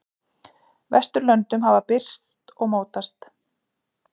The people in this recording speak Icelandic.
Vesturlöndum hafa birst og mótast.